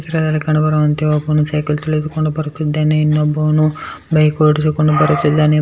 ಈ ಚಿತ್ರದಲ್ಲಿ ಕಂಡುಬರುವಂತೆ ಒಬ್ಬನು ಸೈಕಲ್ ತುಳಿದುಕೊಂಡು ಬರುತ್ತಿದ್ದಾನೆ ಇನ್ನಬೋನು ಬೈಕ್ ಓಡಿಸಿಕೊಂಡು ಬರುತ್ತಿದ್ದಾನೆ.